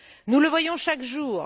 Nous le voyons chaque jour.